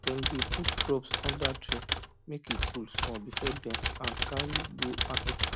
dem dey put crops under tree make e cool small before dem am carry go market